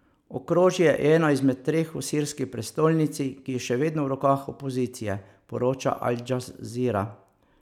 Okrožje je eno izmed treh v sirski prestolnici, ki je še vedno v rokah opozicije, poroča Al Džazira.